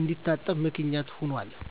እንዲታጠብ ምክንያት ሆኗል።